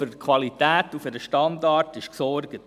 Für die Qualität und für den Standard ist also gesorgt.